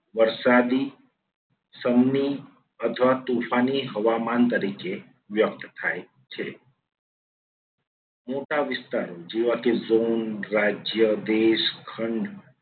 વરસાદી, સમની અથવા તોફાની હવામાન તરીકે વ્યક્ત થાય છે. મોટા વિસ્તારો જેવા કે જ્હુમ, રાજ્ય, દેશ, ખંડ